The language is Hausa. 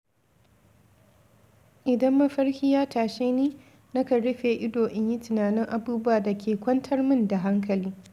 Idan mafarki ya tashe ni, na kan rufe ido in yi tunanin abubuwan da ke kwantar min da hankali.